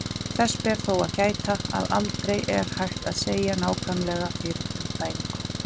Þess ber þó að gæta, að aldrei er hægt að segja nákvæmlega fyrir um fæðingu.